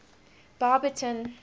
barberton